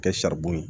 Kɛ saribɔn ye